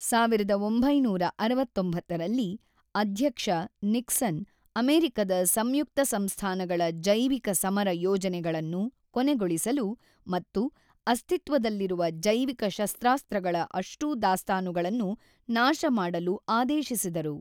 ೧೯೬೯ರಲ್ಲಿ ಅಧ್ಯಕ್ಷ ನಿಕ್ಸನ್ ಅಮೆರಿಕದ ಸಂಯುಕ್ತ ಸಂಸ್ಥಾನಗಳ ಜೈವಿಕಸಮರ ಯೋಜನೆಗಳನ್ನು ಕೊನೆಗೊಳಿಸಲು ಮತ್ತು ಅಸ್ತಿತ್ವದಲ್ಲಿರುವ ಜೈವಿಕ ಶಸ್ತ್ರಾಸ್ತ್ರಗಳ ಅಷ್ಟೂ ದಾಸ್ತಾನುಗಳನ್ನು ನಾಶಮಾಡಲು ಆದೇಶಿಸಿದರು.